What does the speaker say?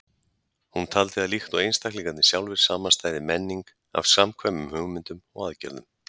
Hún taldi að líkt og einstaklingarnir sjálfir samanstæði menning af samkvæmum hugmyndum og aðgerðum.